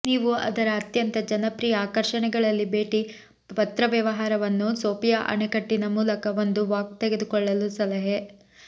ನೀವು ಅದರ ಅತ್ಯಂತ ಜನಪ್ರಿಯ ಆಕರ್ಷಣೆಗಳಲ್ಲಿ ಭೇಟಿ ಪತ್ರವ್ಯವಹಾರವನ್ನು ಸೋಫಿಯಾ ಅಣೆಕಟ್ಟಿನ ಮೂಲಕ ಒಂದು ವಾಕ್ ತೆಗೆದುಕೊಳ್ಳಲು ಸಲಹೆ